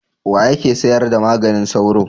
Wa yake sayar da maganin sauro?